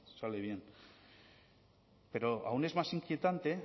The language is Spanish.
sale bien pero aún es más inquietante